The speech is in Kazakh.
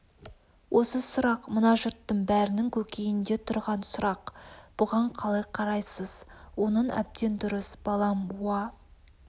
осы сұрақ мына жұрттың бәрінің көкейінде тұрған сұрақ бұған қалай қарайсыз оның әбден дұрыс балам уа